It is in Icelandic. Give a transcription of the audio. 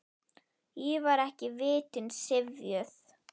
Ég var ekki vitund syfjuð.